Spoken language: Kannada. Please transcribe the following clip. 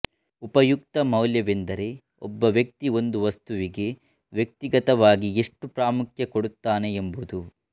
ಉಪಯುಕ್ತತಾ ಮೌಲ್ಯವೆಂದರೆ ಒಬ್ಬ ವ್ಯಕ್ತಿ ಒಂದು ವಸ್ತುವಿಗೆ ವ್ಯಕ್ತಿಗತವಾಗಿ ಎಷ್ಟು ಪ್ರಾಮುಖ್ಯ ಕೊಡುತ್ತಾನೆ ಎಂಬುದು